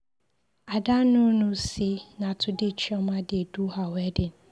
Ada no know say na today chioma dey do her wedding.